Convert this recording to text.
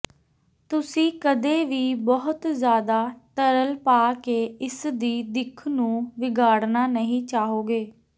ਤੁਸੀਂ ਕਦੇ ਵੀ ਬਹੁਤ ਜ਼ਿਆਦਾ ਤਰਲ ਪਾ ਕੇ ਇਸ ਦੀ ਦਿੱਖ ਨੂੰ ਵਿਗਾੜਨਾ ਨਹੀਂ ਚਾਹੋਗੇ